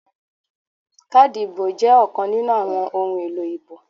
Káàdì ìdìbò jẹ́ ọ̀kan nínú àwọn ohun èlò ìbò